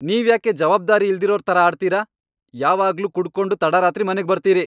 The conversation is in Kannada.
ನೀವ್ಯಾಕೆ ಜವಾಬ್ದಾರಿ ಇಲ್ದಿರೋರ್ ಥರ ಆಡ್ತೀರ? ಯಾವಾಗ್ಲೂ ಕುಡ್ಕೊಂಡು ತಡರಾತ್ರಿ ಮನೆಗ್ ಬರ್ತೀರಿ.